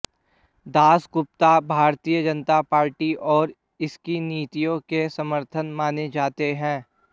Dasgupta Bharatiya Janata Party और इसकी नीतियों के समर्थक माने जाते हैं